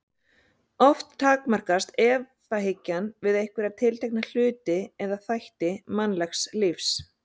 Oft takmarkast efahyggjan við einhverja tiltekna hluti eða þætti mannlegs lífs.